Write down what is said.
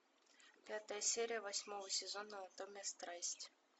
пятая серия восьмого сезона анатомия страсти